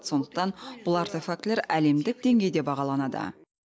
сондықтан бұл артефактілер әлемдік деңгейде бағаланады